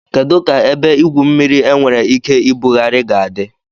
Kedu ka ebe igwu mmiri enwere ike ibugharị ga-adị?